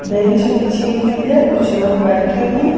Bench बिछी हुई है कुछ लोग बैठे हैं।